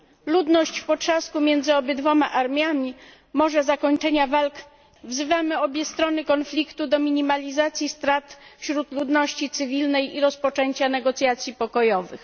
Ludność w potrzasku między obydwiema armiami może nie doczekać się zakończenia walk. Wzywamy obie strony konfliktu do minimalizacji strat wśród ludności cywilnej i rozpoczęcia negocjacji pokojowych.